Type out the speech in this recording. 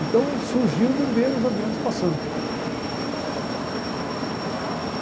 Então surgiu de ver os aviões passando.